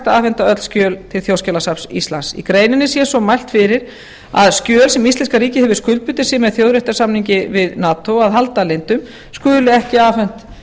afhenda öll skjöl til þjóðskjalasafns íslands í greininni sé svo mælt fyrir að skjöl sem íslenska ríkið hefur skuldbundið sig með þjóðréttarsamningi við nato að halda leyndum skuli ekki afhent